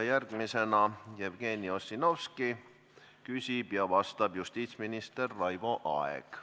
Järgmisena küsib Jevgeni Ossinovski ja vastab justiitsminister Raivo Aeg.